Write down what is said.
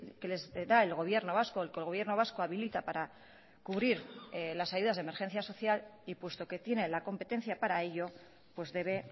que les da el gobierno vasco el que el gobierno vasco habilita para cubrir las ayudas de emergencia social y puesto que tiene la competencia para ello pues debe